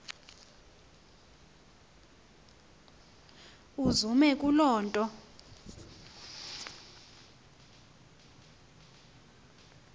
uzume kule nto